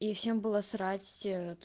и всем было срать ээ